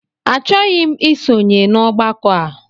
Achọghị m ịsonye n'ọgbakọ a